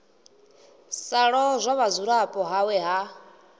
sa lozwa vhudzulapo hawe ha